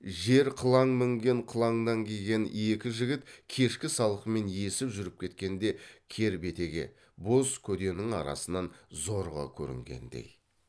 жер қылаң мінген қылаңнан киген екі жігіт кешкі салқынмен есіп жүріп кеткенде кер бетеге боз көденің арасынан зорға көрінгендей